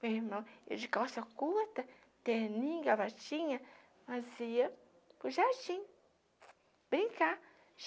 Meu irmão ia de calça curta, terninho, gravatinha, nós ia para o jardim brincar.